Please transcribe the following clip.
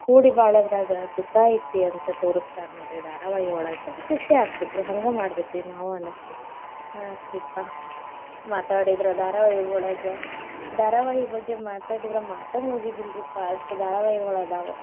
ಕೂಡಿ ಬಾಳೋದ್ರಾಗ ಸುಖಾ ಐತಿ ಅಂತ ತೋರ್ಸ್ತಾರ ನೋಡ್ರಿ ಧಾರಾವಾಹಿಯೊಳಗ್. ಖುಷಿ ಆಗ್ತೇತ್ರಿ ಹಂಗ ಮಾಡ್ಬೇಕ್ರಿ ನಾವ್ ಅನಸ್ತೇತಿ, ಆತ್ರಿಪಾ ಮಾತಾಡಿದ್ರ ಧಾರಾವಾಹಿಯೊಳಗ್, ಧಾರಾವಾಹಿ ಬಗ್ಗೆ ಮಾತಾಡಿದ್ರ ಮಾತ ಮುಗಿದಿಲ್ರಿಪಾ ಅಷ್ಟ ಧಾರಾವಾಹಿಗಳಾದವ್.